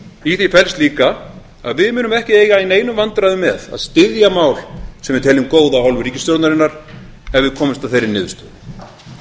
í því felst líka að við munum ekki eiga í neinum vandræðum með að styðja mál sem við teljum góð af hálfu ríkisstjórnarinnar ef við komumst að þeirri niðurstöðu